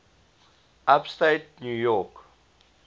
upstate new york